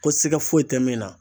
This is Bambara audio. Ko siga foyi te min na